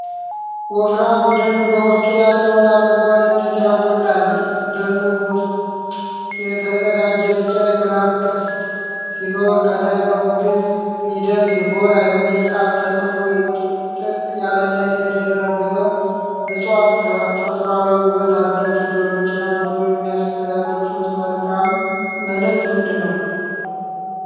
ወፍራም ደን በውስጡ ያለውን አረንጓዴነት ያጎላል። ደኑ ውስጥ የተዘረጋ ቢጫ የብርሃን ቅስት ሲኖረው፣ ከላይ በግዕዝ ፊደል 'ዝጎራ' የሚል ቃል ተጽፎ ጥቅጥቅ ያለና የተደራረበ እጽዋት ተፈጥሮአዊ ውበት አለው። ፊደሎቹና ደኑ የሚያስተላልፉት መልእክት ምንድን ነው?